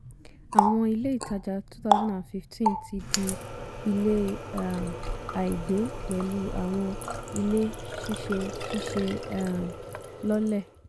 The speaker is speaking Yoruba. àwọn ilé ìtajà two thousand and fifteen ti di ilé um àìgbé pẹ̀lú àwọn ilé síse síse um lọ́lẹ̀.